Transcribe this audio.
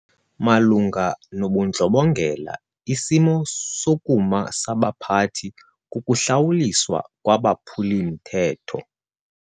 Malunga nobundlobongela isimo sokuma sabaphathi kukuhlawuliswa kwabaphuli-mthetho.